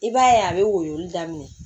I b'a ye a bɛ woyo daminɛ